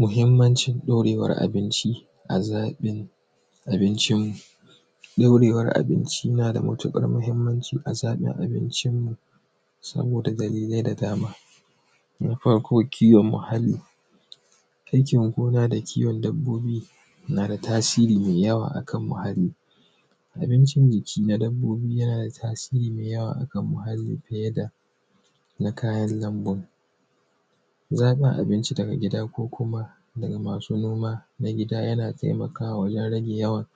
mahimmancin daurewan abinci azabin abincin ibincin daurewan abinci na da matuƙar mahimmanci a nahija arewacin nan saboda da dalilai da dama na farko kiwon muhalli jankin gona da kiwon dabbobi na tasiri me jawa akan muhalli abinici na ǳiki na dabbobi yana da tasiri da jawa akan muhalli feye da na kayan na lambon zaba abinci daga gida ko kuma masu noma na gida yana taimaka ma yara da yawa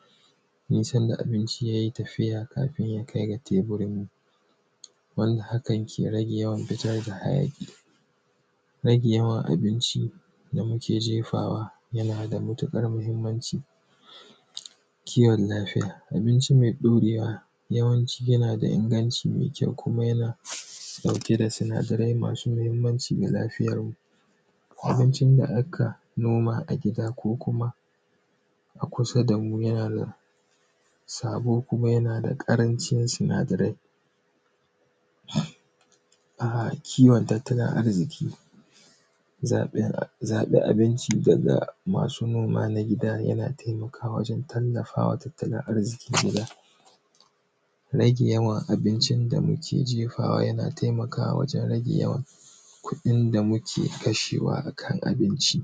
duk sanda abinci yai tafiya kafin ya kai da tebirin barin haka ke rage yawan fita da hayaki ragewan abinci da muke ǳefawa yana da matuƙar mahimmanci kiwon lafiya abinci mai daurewa yawanci yana da inganci mai kyau kuma yana dauke da sunadare masu mahimmanci da lafiyan mu kuma baccin ga haka noma a gida ko kuma a kusa da mu yanada sabo kuma yana da ƙarancin sunadarai a kiwon tattalin arziki zabi abinci daga masu noma na gida yana taimakawa waǳen tallafawa tattalin arziki na gida rage awan abincin da muke ǳefawa yana taimakawa waǳen rage yawa kudin da muke kashewa akan abinci